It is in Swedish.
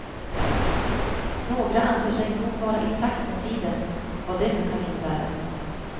Några anser sig nog vara i takt med tiden, vad det nu kan innebära.